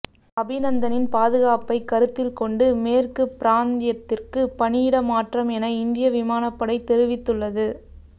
அபிநந்தனின் பாதுகாப்பை கருத்தில் கொண்டு மேற்கு பிராந்தியத்திற்கு பணியிட மாற்றம் என இந்திய விமானப்படை தெரிவித்துள்ளது